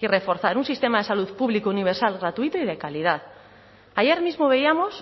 y reforzar un sistema de salud público universal gratuito y de calidad ayer mismo veíamos